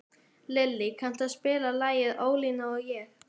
Lillý, kanntu að spila lagið „Ólína og ég“?